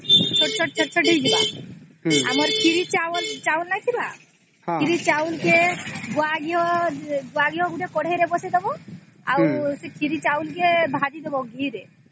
ହୁଁ ପନିର କୁ ଛୋଟ ଛୋଟ କରିକି କାଟିଦେବାର ଆଉ ଖୀରି ଚାଉଳ କୁ ଘିଅ ରେ ନଭଜଇ ଦେବାର